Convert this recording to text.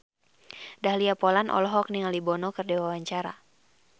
Dahlia Poland olohok ningali Bono keur diwawancara